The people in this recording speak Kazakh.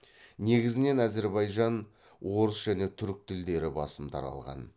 негізінен әзірбайжан орыс және түрік тілдері басым таралған